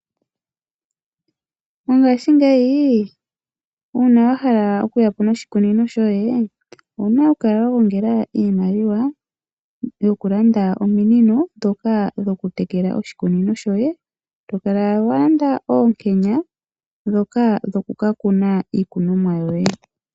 Mongaashingeyi uuna wa hala okuyapo noshikunino shoye owu na okukala wa gongela iimaliwa yokulanda ominino ndhoka dhokutekela oshikunino shoye noshowo to kala wa landa oonkenya ndhoka dhokukakuna iikunomwa yoye.